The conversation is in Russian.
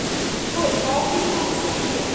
джой паулина саке